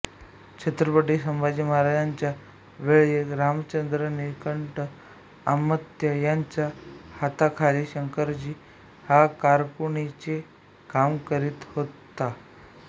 छत्रपती संभाजी महाराजांच्या वेळीं रामचंद्र निळकंठ अमात्य याच्या हाताखालीं शंकराजी हा कारकुनीचें काम करीत होता